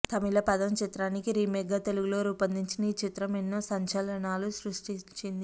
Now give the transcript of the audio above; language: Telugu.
తమిళ పాదం చిత్రానికి రీమేక్గా తెలుగులో రూపొందిన ఈ చిత్రం ఎన్నో సంచలనాలు సృష్టించింది